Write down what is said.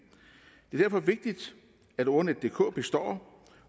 det er derfor vigtigt at ordnetdk består